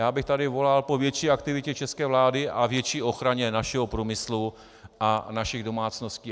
Já bych tady volal po větší aktivitě české vlády a větší ochraně našeho průmyslu a našich domácností.